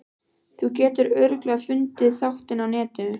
Þú getur örugglega fundið þáttinn á Netinu.